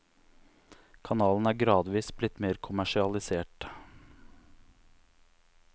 Kanalen er gradvis blitt mer kommersialisert.